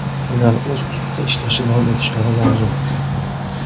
Ular o‘z ustida ishlashda davom etishlari lozim.